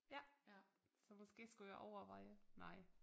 Ja så måske skulle jeg overveje nej